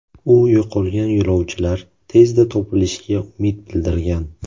U yo‘qolgan yo‘lovchilar tezda topilishiga umid bildirgan.